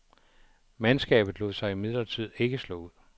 Mandskabet lod sig imidlertid ikke slå ud.